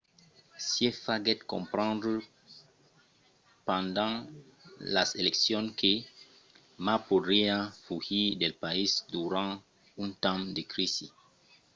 hsieh faguèt comprendre pendent las eleccions que ma podriá fugir del país durant un temps de crisi